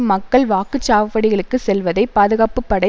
மக்கள் வாக்கு சாவடிகளுக்கு செல்வதை பாதுகாப்பு படை